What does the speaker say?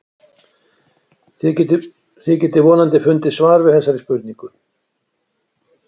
þið getið vonandi fundið svar við þessari spurningu